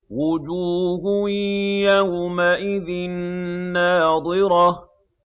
وُجُوهٌ يَوْمَئِذٍ نَّاضِرَةٌ